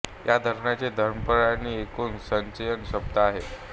या धरणाचे घनफळ आणि एकूण संचयन क्षमता आहे